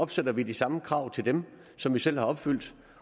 stiller vi de samme krav til dem som vi selv har opfyldt